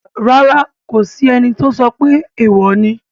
Rárá, kò sí ẹni tó sọ pé èèwò ni